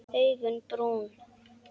Augun brún.